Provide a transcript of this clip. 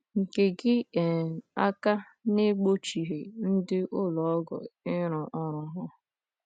nke gị um aka n’egbochighị ndị ụlọ ọgwụ ịrụ ọrụ ha